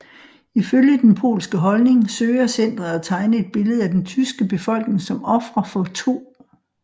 Ifølge den polske holdning søger centret at tegne et billede af den tyske befolkning som ofre for 2